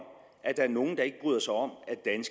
at der er nogle der ikke bryder sig om